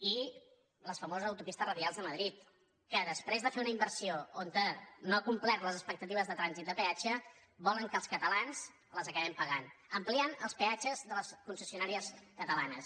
i les famoses autopistes radials de madrid que després de fer una inversió que no ha complert les expectatives de trànsit de peatge volen que els catalans les acabem pagant ampliant els peatges de les concessionàries catalanes